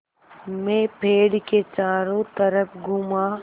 मैं पेड़ के चारों तरफ़ घूमा